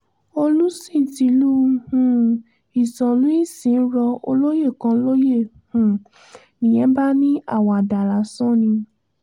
olùsìn tílu um ìsànlù-ìsìn rọ olóyè kan lóyè um nìyẹn bá ní àwàdà lásán ni